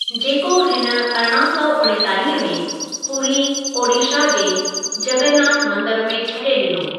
जेको हिन अरिड़हां सौ उणेतालीह में पुरी ओड़िशा जे जॻन्ननाथ मंदिरु में छॾे ॾिनो।